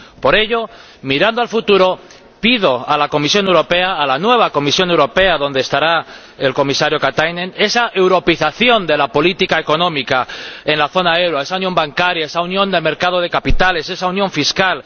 Por ello, mirando al futuro, pido a la Comisión Europea, a la nueva Comisión Europea donde estará el comisario Katainen, esa europeización de la política económica en la zona del euro, esa unión bancaria, esa unión del mercado de capitales, esa unión fiscal.